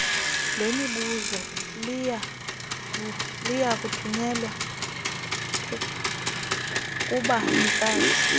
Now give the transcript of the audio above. lwemibuzo liyakuthunyelwa kubanikazi